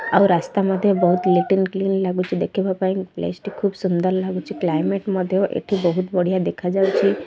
ଆଉ ରାସ୍ତା ମଧ୍ୟ ବହୁତ ନିଟ୍ କ୍ଲିନ୍ ଲାଗୁଛି ଦେଖିବା ପାଇଁ ପ୍ଲେସ୍ ଟି ଖୁବ୍ ସୁନ୍ଦର ଲାଗୁଛି କ୍ଲାଇମେଟ୍ ମଧ୍ୟ ଏଠି ବହୁତ ବଢିଆ ଦେଖା ଯାଉଛି।